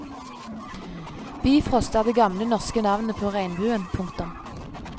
Bifrost er det gamle norske navnet på regnbuen. punktum